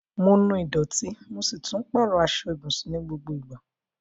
Mo nu ìdọ̀tí, mo si tun pàrọ aso ibùsùn ni gbogbo ìgbà